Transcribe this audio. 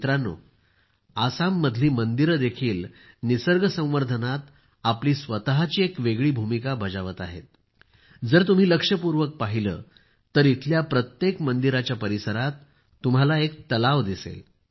मित्रांनो आसाममधील मंदिरे देखील निसर्ग संवर्धनात आपली स्वतःची एक वेगळी भूमिका बजावत आहेत जर तुम्ही लक्षपूर्वक पहिले तर इथल्या प्रत्येक मंदिराच्या परिसरात तुम्हाला एक तलाव दिसेल